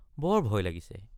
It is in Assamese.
বৰ ভয় লাগিছে।